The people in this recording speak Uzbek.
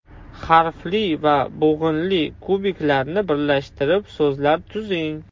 Harfli va bo‘g‘inli kubiklarni birlashtirib so‘zlar tuzing.